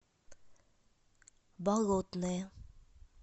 болотное